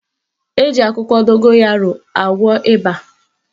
Eji akwụkwọ dogoyaro agwọ ịba.